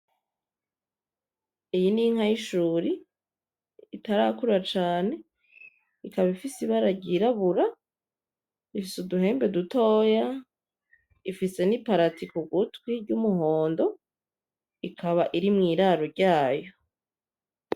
Iyi ni inka y'inshuri itarakura cane ikaba ifise ibara ry'irabura ifise uduhembe dutoya ifise n'iparati kugutwi ry'umuhondo ikaba iri mw'iraro ryayo.